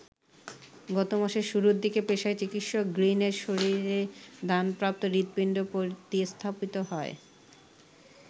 গত মাসের শুরুর দিকে পেশায় চিকিৎসক গ্রিনের শরীরে দানপ্রাপ্ত হৃদপিণ্ড প্রতিস্থাপিত হয়।